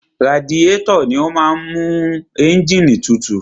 Radiétọ̀ ni ó máa ń mú ẹ́ǹgìnì tutù.